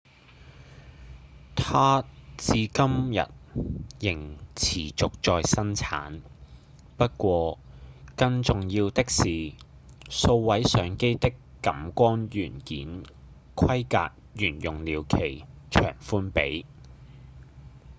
它至今日仍持續在生產不過更重要的是數位相機的感光元件規格沿用了其長寬比